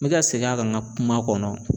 N mi ka segin a kan n ka kuma kɔnɔ